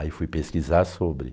Aí fui pesquisar sobre.